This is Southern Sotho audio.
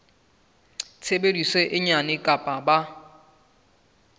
tshebetso e nyane kapa ba